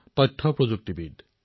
আহক তেওঁৰ অভিজ্ঞতা শুনো